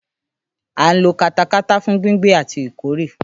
À ń lo katakata fún gbíngbìn àti ìkórè